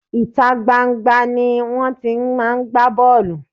Ìta gban-an gban-an ni wón ti máa ń gbá bọ́ọ̀lù.